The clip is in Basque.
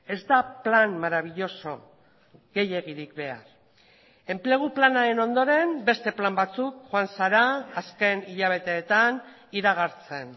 ez da plan marabilloso gehiegirik behar enplegu planaren ondoren beste plan batzuk joan zara azken hilabeteetan iragartzen